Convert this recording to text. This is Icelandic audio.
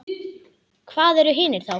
Hvað eru hinir þá?